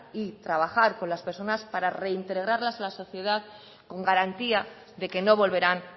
y trabajar con las personas para reintegrarlas en la sociedad con garantía de que no volverán